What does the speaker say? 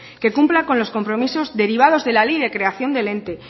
que cumpla con los compromisos derivados de la ley de creación del ente